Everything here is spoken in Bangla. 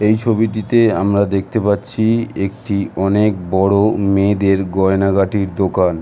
এই ছবিটিতে আমরা দেখতে পাচ্ছি একটি অনেক বড়ো মেয়েদের গয়নাগাটির দোকান।